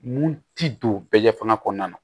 Mun ti don bɛɛ ɲɛfɔ fanga kɔnɔna na